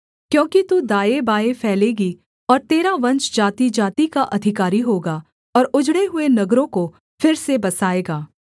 क्योंकि तू दाएँबाएँ फैलेगी और तेरा वंश जातिजाति का अधिकारी होगा और उजड़े हुए नगरों को फिर से बसाएगा